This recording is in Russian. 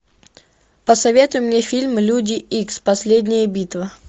посоветуй мне фильм люди икс последняя битва